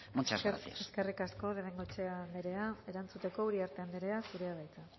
muchas gracias eskerrik asko de bengoechea anderea erantzuteko uriarte anderea zurea da hitza